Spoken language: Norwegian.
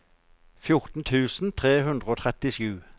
fjorten tusen tre hundre og trettisju